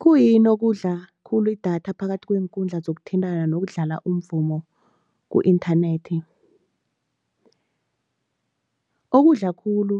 Khuyini okudla khulu idatha phakathi kweenkundla zokuthintana nokudlala umvumo ku-inthanethi? Okudla khulu,